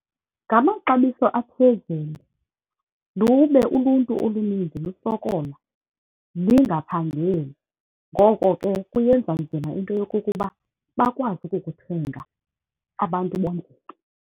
Ngamaxabiso aphezulu lube uluntu oluninzi lusokola, lingaphangeli. Ngoko ke kuyenza nzima into yokokuba bakwazi ukukuthenga abantu bonke.